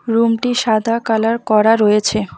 রুমটি সাদা কালার করা রয়েছে।